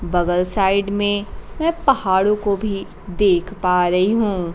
बगल साइड में मैं पहाड़ों को भी देख पा रही हूं।